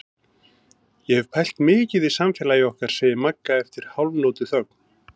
Ég hef pælt mikið í samfélagi okkar, segir Magga eftir hálfnótuþögn.